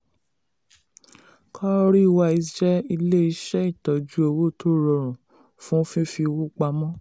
cowrywise jẹ́ ilé iṣẹ́ ìtọ́jú owó tó rọrùn fún fífi owó pamọ́.